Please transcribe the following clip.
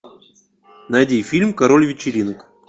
найди фильм король вечеринок